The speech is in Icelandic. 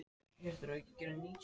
Og ég var ekki einn um það.